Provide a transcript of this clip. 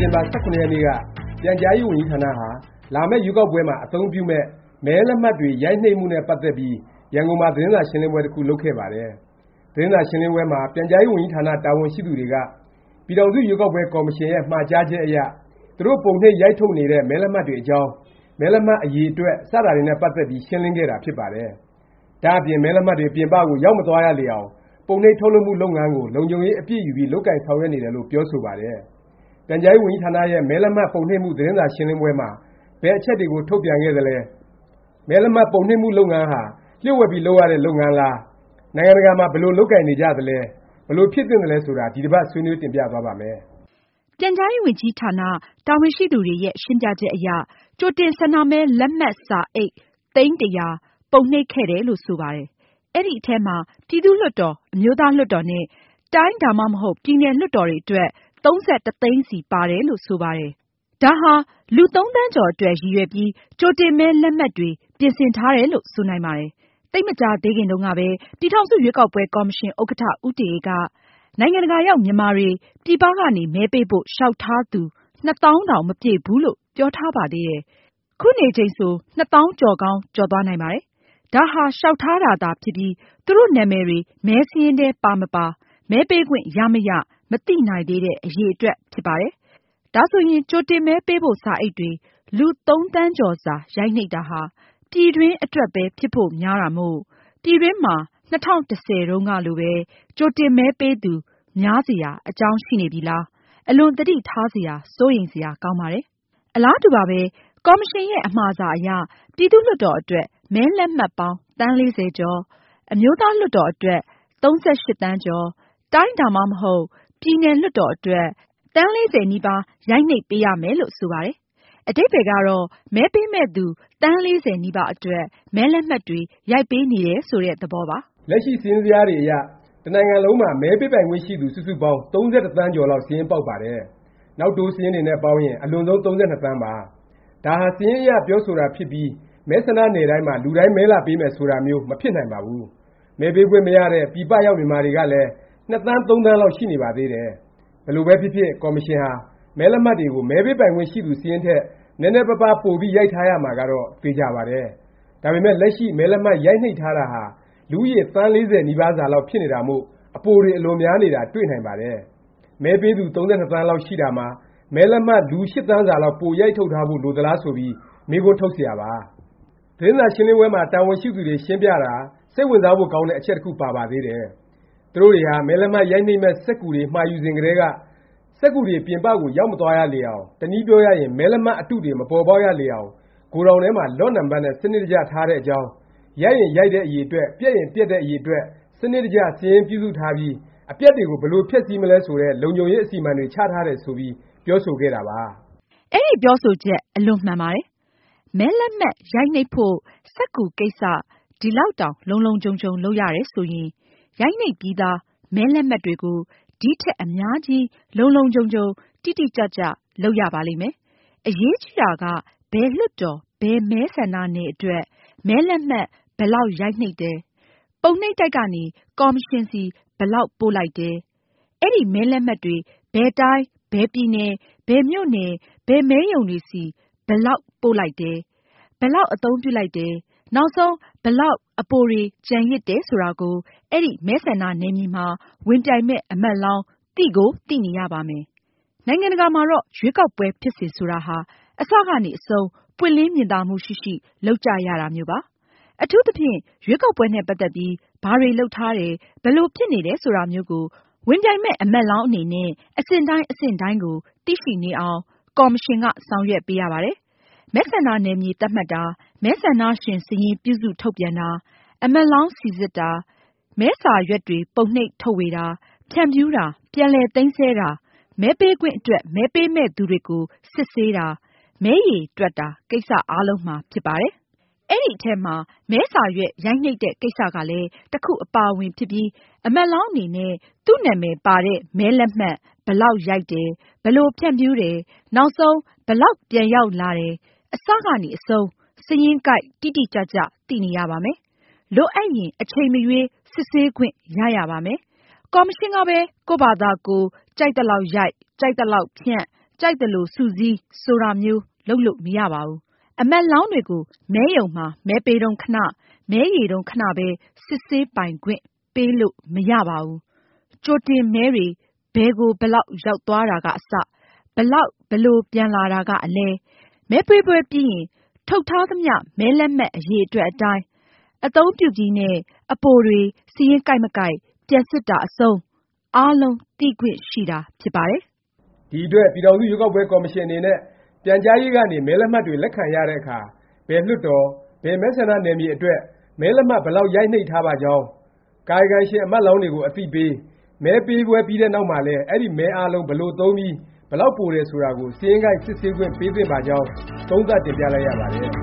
တင်ဘာ ၁၇ ရက်နေ့က ပြန်ကြားရေးဝန်ကြီးဌာနဟာ လာမယ့် ရွေးကောက်ပွဲမှာ အသုံးပြုမယ့် မဲလက်မှတ်တွေ ရိုက်နှိပ်မှုနဲ့ ပတ်သက်ပြီး ရန်ကုန်မှာ သတင်းစာရှင်းလင်းပွဲ တစ်ခု လုပ်ခဲ့ပါတယ်။ သတင်းစာရှင်းပွဲမှာ ပြန်ကြားရေးဝန်ကြီးဌာန တာဝန်ရှိသူတွေက ပြည်ထောင်စု ရွေးကောက်ပွဲ ကော်မရှင်ရဲ့ မှာကြားချက်အရ သူတို့ ပုံနှိပ် ရိုက်ထုတ်နေတဲ့ မဲလက်မှတ်တွေအကြောင်း၊ မဲလက်မှတ် အရည်အတွက် စတာတွေနဲ့ ပတ်သက်ပြီး ရှင်းလင်းခဲ့တာ ဖြစ်ပါတယ်။ ဒါ့အပြင် မဲလက်မှတ်တွေ ပြင်ပကို ရောက်မသွားရလေအောင် ပုံနှိပ်ထုတ်လုပ်မှု လုပ်ငန်းကို လုံခြုံရေးအပြည့်ယူပြီး လုပ်ကိုင်ဆောင်ရွက်နေတယ်လို့ ပြောဆိုပါတယ်။ ပြန်ကြားရေးဝန်ကြီးဌာနရဲ့ မဲလက်မှတ် ပုံနှိပ်မှု သတင်းစာရှင်းပွဲမှာ ဘယ်အချက်တွေကို ထုတ်ပြန်ခဲ့သလဲ၊ မဲလက်မှတ် ပုံနှိပ်မှု လုပ်ငန်းဟာ လျှို့ဝှက်ပြီး လုပ်ရတဲ့ လုပ်ငန်းလား၊ နိုင်ငံတကာမှာ ဘယ်လို လုပ်ကိုင်နေကြသလဲ၊ ဘယ်လို ဖြစ်သင့်သလဲ ဆိုတာ ဒီတစ်ပါတ် ဆွေးနွေး တင်ပြသွားပါ့မယ်။ ပြန်ကြားရေးဝန်ကြီးဌာန တာဝန်ရှိသူတွေရဲ့ ရှင်းပြချက်အရ ကြိုတင် ဆန္ဒမဲလက်မှတ် စာအိတ် သိန်း ၁၀၀၊ ပုံနှိပ် ခဲ့တယ်လို့ ဆိုပါတယ်။ အဲဒီအထဲမှာ ပြည်သူ့လွှတ်တော်၊ အမျိုးသားလွှတ်တော်နဲ့ တိုင်းဒါမှမဟုတ် ပြည်နယ် လွှတ်တော်တွေအတွက် ၃၁ သိန်းစီ ပါတယ်လို့ ဆိုပါတယ်။ ဒါဟာ လူ ၃ သန်းကျော် အတွက် ရည်ရွယ်ပြီး ကြိုတင်မဲ လက်မှတ်တွေ ပြင်ဆင်ထားတာလို့ ဆိုနိုင်ပါတယ်။ သိပ်မကြာသေးခင်တုန်းကပဲ ပြည်ထောင်စု ရွေးကောက်ပွဲ ကော်မရှင် ဥက္ကဌ ဦးတင်အေး က နိုင်ငံတကာရောက် မြန်မာတွေ ပြည်ပကနေ မဲပေးဖို့ လျောက်ထားသူ ၂ သောင်းတောင် မပြည့်သေးဘူးလို့ ပြောထားပါသေးတယ်။ ခုနေချိန်ဆို ၂ သောင်းကျော်ကောင်း ကျော်သွားနိုင်ပါတယ်။ ဒါဟာ လျောက်ထားတာသာ ဖြစ်ပြီး သူတို့နာမည်တွေ မဲစာရင်းထဲ ပါမပါ၊ မဲပေးခွင့်ရမရ မသိနိုင်သေးတဲ့ အရည်အတွက်ဖြစ်ပါတယ်။ ဒါဆိုရင် ကြိုတင်မဲပေးဖို့ စာအိတ်တွေ လူ ၃ သန်းကျော်စာ ရိုက်နှိပ်တာဟာ ပြည်တွင်းအတွက်ပဲ ဖြစ်ဖို့များတာမို့၊ ပြည်တွင်းမှာ ၂၀၁၀ တုန်းကလိုပဲ ကြိုတင်မဲပေးသူ များစရာ အကြောင်းရှိနေပြီလား၊ အလွန် သတိထားစရာ စိုးရိမ်စရာ ကောင်းပါတယ်။ အလားတူပါပဲ။ ကော်မရှင်ရဲ့ အမှာစာအရ ပြည်သူ့လွှတ်တော် အတွက် မဲလက်မှတ်ပေါင်း သန်း ၄၀ ကျော်၊ အမျိုးသားလွှတ်တော် အတွက် ၃၈ သန်းကျော်၊ တိုင်းဒါမှမဟုတ် ပြည်နယ် လွှတ်တော် အတွက် သန်း ၄၀ နီးပါး ရိုက်နှိပ်ပေးရမယ် လို့ ဆိုပါတယ်။ အဓိပ္ပါယ်ကတော့ မဲပေးမယ့်သူ သန်း ၄၀ နီးပါး အတွက် မဲလက်မှတ်တွေ ရိုက်ပေးနေတယ် ဆိုတဲ့ သဘောပါ။ လက်ရှိစာရင်းဇယားတွေအရ တစ်နိုင်ငံလုံးမှာ မဲပေးပိုင်ခွင့် ရှိသူ စုစုပေါင်း ၃၁ သန်းကျော်လောက် စာရင်းပေါက်ပါတယ်။ နောက်တိုးတွေနဲ့ ပေါင်းရင် အလွန်ဆုံး ၃၂ သန်းပါ။ ဒါဟာ စာရင်းအရ ပြောဆိုတာဖြစ်ပြီး မဲဆန္ဒနယ်တိုင်းမှာ လူတိုင်း မဲလာပေးမယ် ဆိုတာမျိုး မဖြစ်နိုင်ပါဘူး။ မဲပေးခွင့်မရတဲ့ ပြည်ပရောက် မြန်မာတွေကလည်း ၂ သန်း ၃ သန်းလောက် ရှိနေပါသေးတယ်။ ဘယ်လိုပဲဖြစ်ဖြစ် ကော်မရှင်ဟာ မဲလက်မှတ်တွေကို မဲပေးပိုင်ခွင့် ရှိသူစာရင်းထက် နည်းနည်းပါပါး ပိုပြီး ရိုက်ထားရမှာကတော့ သေခြာပါတယ်။ ဒါပေမယ့် လက်ရှိ မဲလက်မှတ် ရိုက်နှိပ်ထားတာဟာ လူဦးရေ သန်း ၄၀ နီးပါးစာလောက် ဖြစ်နေတာမို့ အပိုတွေ အလွန်များနေတာ တွေ့နိုင်ပါတယ်။ မဲပေးသူ ၃၂ သန်းလောက် ရှိတာမှာ မဲလက်မှတ် လူ ၈ သန်းစာလောက် ပိုရိုက်ထုတ်ထားဖို့ လိုသလား ဆိုပြီး မေးခွန်း ထုတ်စရာပါ။ သတင်းစာရှင်းလင်းပွဲမှာ တာဝန်ရှိသူတွေ ရှင်းပြတာ စိတ်ဝင်စားဖို့ ကောင်းတဲ့ အချက်တစ်ခု ပါပါသေးတယ်။ သူတို့တွေဟာ မဲလက်မှတ်ရိုက်မယ့် စက္ကူတွေ မှာယူစဉ်ကတည်းက စက္ကူတွေ ပြင်ပကို ရောက်မသွားရလေအောင်၊ တစ်နည်းပြောရရင် မဲလက်မှတ် အတုတွေ မပေါ်ပေါက်ရလေအောင် ဂိုဒေါင်ထဲမှာ Lot နံပတ်နဲ့ စနစ်တကျ ထားတဲ့အကြောင်း၊ ရိုက်ရင် ရိုက်တဲ့ အရည်အတွက်၊ ပျက်ရင် ပျက်တဲ့ အရည်အတွက် စနစ်တကျ စာရင်းပြုစုထားပြီး အပျက်တွေကို ဘယ်လို ဖျက်ဆီးမလဲ ဆိုတဲ့ လုံခြုံရေး အစီအမံတွေ ချထားတယ် ဆိုပြီး ပြောဆိုခဲ့တာပါ။ အဲဒီ ပြောဆိုချက် အလွန်မှန်ပါတယ်။ မဲလက်မှတ် ရိုက်နှိပ်ဖို့ စက္ကူကိစ္စ ဒီလောက်တောင် လုံလုံခြုံခြုံ လုပ်ရတယ် ဆိုရင် ရိုက်နှိပ်ပြီးသား မဲလက်မှတ်တွေကို ဒီံထက် အများကြီးလုံလုံခြုံခြုံ တိတိကျကျ လုပ်ရပါလိမ့်မယ်။ အရေးကြီးတာက ဘယ်လွှတ်တော်၊ ဘယ်မဲဆန္ဒနယ်အတွက် မဲလက်မှတ် ဘယ်လောက် ရိုက်နှိပ်တယ်၊ ပုံနှိပ်တိုက်ကနေ ကော်မရှင်ဆီ ဘယ်လောက် ပို့လိုက်တယ်၊ အဲဒီ မဲလက်မှတ်တွေ ဘယ်တိုင်း၊ ဘယ်ပြည်နယ်၊ ဘယ်မြို့နယ်၊ ဘယ်မဲရုံတွေဆီ ဘယ်လောက် ပို့လိုက်တယ်၊ ဘယ်လောက် အသုံးပြုလိုက်တယ်၊ နောက်ဆုံး ဘယ်လောက် အပိုတွေ ကျန်ရစ်တယ် ဆိုတာကို အဲဒီ မဲဆန္ဒနယ်မြေမှာ ဝင်ပြိုင်မယ့် အမတ်လောင်း သိကို သိနေရပါမယ်။ နိုင်ငံတကာမှာတော့ ရွေးကောက်ပွဲ ဖြစ်စဉ် ဆိုတာဟာ အစကနေ အဆုံး ပွင့်လင်းမြင်သာမှု ရှိရှိ လုပ်ကြရတာမျိုးပါ။ အထူးသဖြင့် ရွေးကောက်ပွဲနဲ့ ပတ်သက်ပြီး ဘာတွေ လုပ်ထားတယ်၊ ဘယ်လို ဖြစ်နေတယ် ဆိုတာမျိုးကို ဝင်ပြိုင်မယ့် အမတ်လောင်း အနေနဲ့ အဆင့်တိုင်း အဆင့်တိုင်းကို သိရှိနေအောင် ကော်မရှင်က ဆောင်ရွက်ပေးရပါတယ်။ မဲဆန္ဒနယ်မြေ သတ်မှတ်တာ၊ မဲဆန္ဒရှင် စာရင်း ပြုစု ထုတ်ပြန်တာ၊ အမတ်လောင်း စိစစ်တာ၊ မဲစာရွက်တွေ ပုံနှိပ် ထုတ်ဝေတာ၊ ဖြန့်ဖြူးတာ၊ ပြန်လည် သိမ်းဆည်းတာ၊ မဲပေးခွင့်အတွက် မဲပေးမယ့်သူတွေကို စစ်ဆေးတာ၊ မဲရေတွက်တာ ကိစ္စ အားလုံးမှာ ဖြစ်ပါတယ်။ အဲဒီအထဲမှာ မဲစာရွက် ရိုက်နှိပ်တဲ့ ကိစ္စကလည်း တစ်ခု အပါအဝင်ဖြစ်ပြီး အမတ်လောင်း အနေနဲ့ သူ့နာမည်ပါတဲ့ မဲလက်မှတ် ဘယ်လောက်ရိုက်တယ်၊ ဘယ်လို ဖြန့်ဖြူးတယ်၊ နောက်ဆုံး ဘယ်လောက် ပြန်ရောက်လာတယ် အစကနေ အဆုံး စာရင်းကိုက် တိတိကျကျ သိနေရပါမယ်၊ လိုအပ်ရင် အချိန်မရွေး စစ်ဆေးခွင့် ရရပါမယ်။ ကော်မရှင်ကပဲ ကိုယ့်ဖာသာကိုယ် ကြိုက်သလောက်ရိုက်၊ ကြိုက်သလိုဖြန့်၊ ကြိုက်သလို စုစည်း ဆိုတာမျိုး လုပ်လို့ မရပါဘူး။ အမတ်လောင်းတွေကို မဲရုံမှာ မဲပေးတုန်းခဏ၊ မဲရေတုန်းခဏပဲ စစ်ဆေးပိုင်ခွင့် ပေးလို့မရပါဘူး။ ကြိုတင်မဲတွေ ဘယ်ကို ဘယ်လောက် ရောက်သွားတာက အစ၊ ဘယ်လောက် ဘယ်လို ပြန်လာတာက အလယ်၊ မဲပေးပွဲပြီးရင် ထုတ်ထားသမျှ မဲလက်မှတ် အရည်အတွက်အတိုင်း အသုံးပြုပြီးနဲ့ အပိုတွေ စာရင်းကိုက် မကိုက် ပြန်စစ်တာ အဆုံး အားလုံး သိခွင့်ရှိတာ ဖြစ်ပါတယ်။ ဒီ အတွက် ပြည်ထောင်စု ရွေးကောက်ပွဲ ကော်မရှင် အနေနဲ့ ပြန်ကြားရေးကနေ မဲလက်မှတ်တွေ လက်ခံရတဲ့အခါ ဘယ် လွှတ်တော်၊ ဘယ်မဲဆန္ဒနယ်မြေ အတွက် မဲလက်မှတ် ဘယ်လောက် ရိုက်နှိပ်ထားပါကြောင်း၊ ကာယကံရှင် အမတ်လောင်းတွေကို အသိပေး၊ မဲပေးပွဲ ပြီးတဲ့နောက်မှာလည်း အဲဒီ မဲအားလုံး ဘယ်လို သုံးပြီး ဘယ်လောက် ပိုတယ် ဆိုတာကို စာရင်းကိုက် စစ်ဆေးခွင့် ပေးသင့်ပါကြောင်း သုံးသပ်တင်ပြလိုက်ရပါတယ်